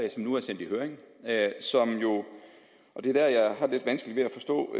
som nu er sendt i høring og det er der jeg har lidt vanskeligt ved at forstå